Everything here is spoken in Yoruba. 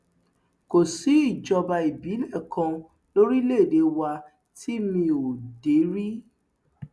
kò sí ìjọba ìbílẹ kan lórílẹèdè wa tí mi ò dé rí